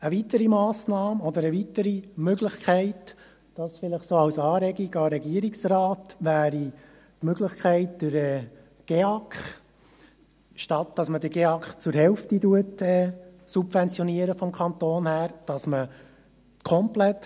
Eine weitere Massnahme oder eine weitere Möglichkeit – dies vielleicht so als Anregung an den Regierungsrat – wäre die Möglichkeit, den GEAK komplett zu finanzieren, anstatt einer Subventionierung zur Hälfte durch Kanton.